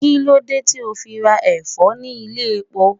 Kí ló dé tí o fi ra Ẹ̀fọ́ ní ilé-epo?